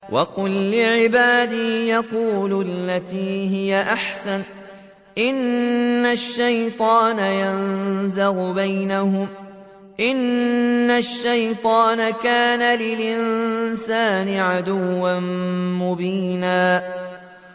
وَقُل لِّعِبَادِي يَقُولُوا الَّتِي هِيَ أَحْسَنُ ۚ إِنَّ الشَّيْطَانَ يَنزَغُ بَيْنَهُمْ ۚ إِنَّ الشَّيْطَانَ كَانَ لِلْإِنسَانِ عَدُوًّا مُّبِينًا